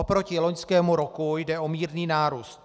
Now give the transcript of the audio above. Oproti loňskému roku jde o mírný nárůst.